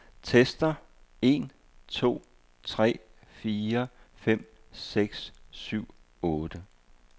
Tester en to tre fire fem seks syv otte.